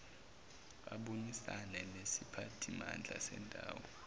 abonisane nesiphathimandla sendawo